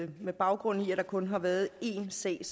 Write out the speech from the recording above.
med baggrund i at der kun har været én sag